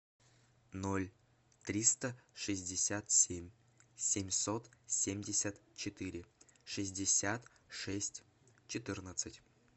ноль триста шестьдесят семь семьсот семьдесят четыре шестьдесят шесть четырнадцать